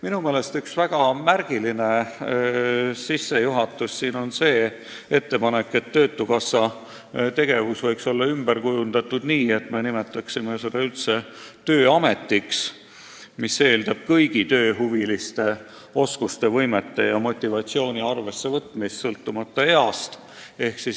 Minu meelest on väga märgiline ettepanek, et töötukassa tegevus võiks olla ümber korraldatud nii, et me nimetaksime selle üldse tööametiks, kus arvestataks kõigi tööhuviliste inimeste oskusi, võimeid ja motivatsiooni sõltumata nende east.